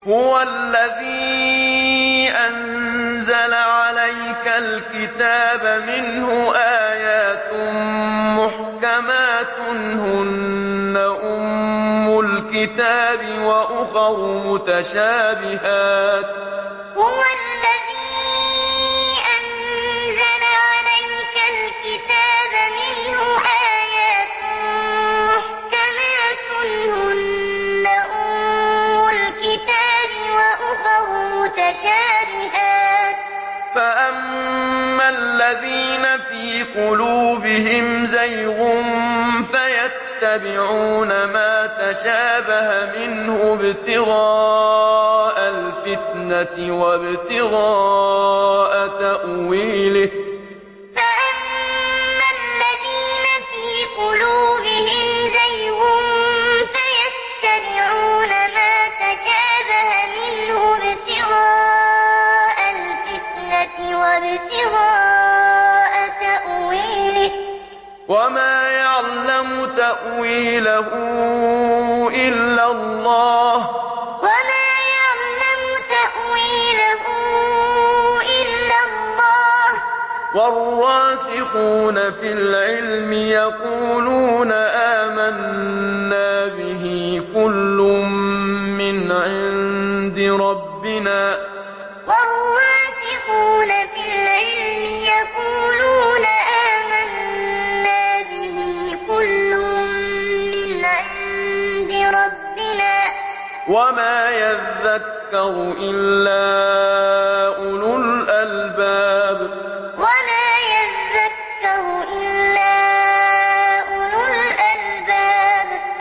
هُوَ الَّذِي أَنزَلَ عَلَيْكَ الْكِتَابَ مِنْهُ آيَاتٌ مُّحْكَمَاتٌ هُنَّ أُمُّ الْكِتَابِ وَأُخَرُ مُتَشَابِهَاتٌ ۖ فَأَمَّا الَّذِينَ فِي قُلُوبِهِمْ زَيْغٌ فَيَتَّبِعُونَ مَا تَشَابَهَ مِنْهُ ابْتِغَاءَ الْفِتْنَةِ وَابْتِغَاءَ تَأْوِيلِهِ ۗ وَمَا يَعْلَمُ تَأْوِيلَهُ إِلَّا اللَّهُ ۗ وَالرَّاسِخُونَ فِي الْعِلْمِ يَقُولُونَ آمَنَّا بِهِ كُلٌّ مِّنْ عِندِ رَبِّنَا ۗ وَمَا يَذَّكَّرُ إِلَّا أُولُو الْأَلْبَابِ هُوَ الَّذِي أَنزَلَ عَلَيْكَ الْكِتَابَ مِنْهُ آيَاتٌ مُّحْكَمَاتٌ هُنَّ أُمُّ الْكِتَابِ وَأُخَرُ مُتَشَابِهَاتٌ ۖ فَأَمَّا الَّذِينَ فِي قُلُوبِهِمْ زَيْغٌ فَيَتَّبِعُونَ مَا تَشَابَهَ مِنْهُ ابْتِغَاءَ الْفِتْنَةِ وَابْتِغَاءَ تَأْوِيلِهِ ۗ وَمَا يَعْلَمُ تَأْوِيلَهُ إِلَّا اللَّهُ ۗ وَالرَّاسِخُونَ فِي الْعِلْمِ يَقُولُونَ آمَنَّا بِهِ كُلٌّ مِّنْ عِندِ رَبِّنَا ۗ وَمَا يَذَّكَّرُ إِلَّا أُولُو الْأَلْبَابِ